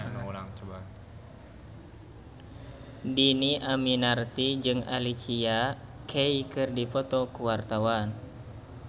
Dhini Aminarti jeung Alicia Keys keur dipoto ku wartawan